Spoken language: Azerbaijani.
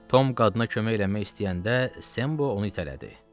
Tom qadına kömək eləmək istəyəndə Sembo onu itələdi.